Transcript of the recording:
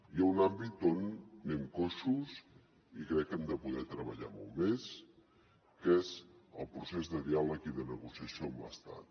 hi ha un àmbit on anem coixos i crec que hi hem de poder treballar molt més què és el procés de diàleg i de negociació amb l’estat